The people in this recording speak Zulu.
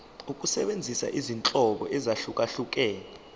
ukusebenzisa izinhlobo ezahlukehlukene